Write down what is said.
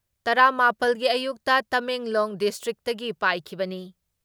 ꯇꯔꯥ ꯃꯥꯄꯜ ꯒꯤ ꯑꯌꯨꯛꯇ ꯇꯃꯦꯡꯂꯣꯡ ꯗꯤꯁꯇ꯭ꯔꯤꯛꯇꯒꯤ ꯄꯥꯏꯈꯤꯕꯅꯤ ꯫